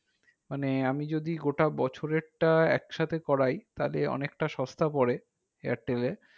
মানে আমি যদি গোটা বছরেরটা একসাথে করাই তাহলে অনেকটা সস্তা পরে airtel